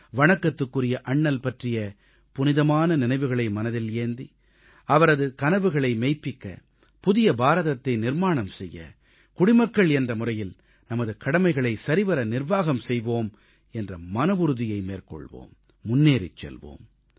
வணக்கத்துக்குரிய அண்ணல் பற்றிய புனிதமான நினைவுகளை மனதில் ஏந்தி அவரது கனவுகளை மெய்ப்பிக்க புதிய பாரதத்தை நிர்மாணம் செய்ய குடிமக்கள் என்ற முறையில் நமது கடமைகளை சரிவர நிர்வாகம் செய்வோம் என்ற மனவுறுதியை மேற்கொள்வோம் முன்னேறிச் செல்வோம்